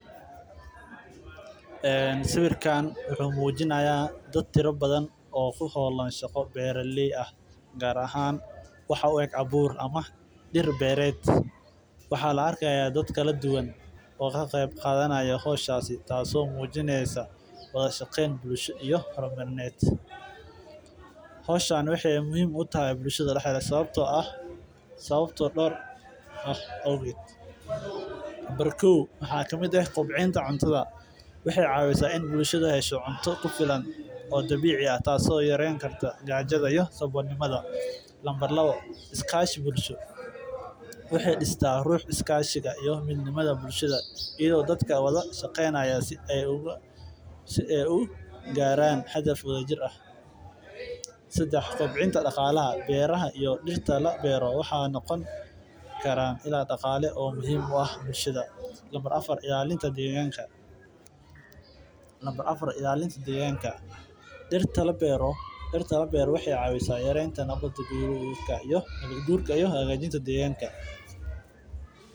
Sawiirkaan wuxuu mujinaaya dad tira badan oo ku beeran meel waxaa la arkaaya dad badan oo ka qeyb qaatan waxaay muhiim utahay bulshada sababta ah door arimood dartood waxeey yareyneysa amsabkolnimada iyo dadka wada shaqeynaya si aay ugaaran meel sare daqaale muhiim ah deeganka ilalinta deeganka Nabad guurka nolosha.